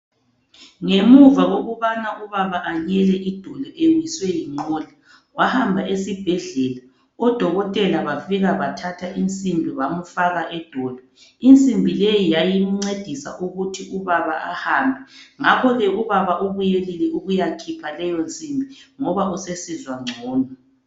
Ngemuva kokubana ubaba anyele idolo ewiswe yingqola wahamba esibhedlela odokotela bafika bathatha insimbi bamfaka edolo. Insimbi leyi yayimncedisa ukuthi ubaba ahambe ngakho ke ubaba ubuyelile ukuyakhipha leyonsimbi ngoba usesizwa ngcono.